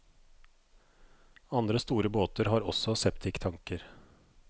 Andre store båter har også septiktanker.